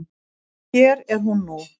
Og hér er hún nú.